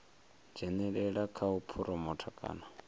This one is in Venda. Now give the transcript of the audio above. dzhenelela kha u phuromotha kana